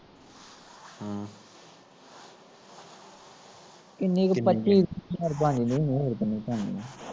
ਇੰਨੀ ਕੁ ਪੱਚੀ ਕੁ ਹਜ਼ਾਰ ਬਣ ਜਾਂਦੀ ਹੁਣੀ ਮੇਰੇ ਹਿਸਾਬ ਨਾਲ